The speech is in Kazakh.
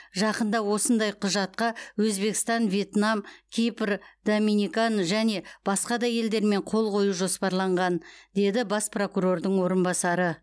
жақында осындай құжатқа өзбекстан вьетнам кипр доминикан және басқа да елдермен қол қою жоспарланған деді бас прокурордың орынбасары